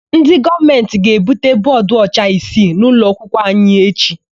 Ndị gọọmentị ga-ebute bọọdụọcha isii n'ụlọakwụkwọ anyị echi.